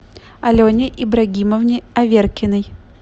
алене ибрагимовне аверкиной